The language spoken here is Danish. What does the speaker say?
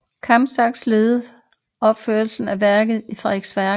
Kampsax leder opførelsen af værket i Frederiksværk